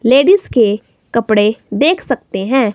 Ladies के कपड़े देख सकते हैं।